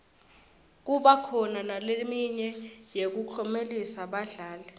kuba khona naleminye yekuklomelisa badlali